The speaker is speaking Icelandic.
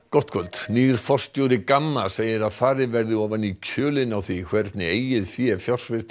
gott kvöld nýr forstjóri Gamma segir að farið verði ofan í kjölinn á því hvernig eigið fé